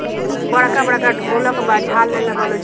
मम बड़का-बड़का ढोलक बा झाल लेलो बालो ज --